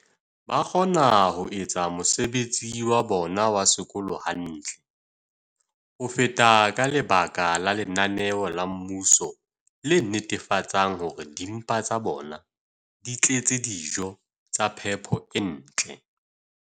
ba kgona ho etsa mosebetsi wa bona wa sekolo hantle ho feta ka lebaka la lenaneo la mmuso le netefatsang hore dimpa tsa bona di tletse dijo tsa phepo e ntle.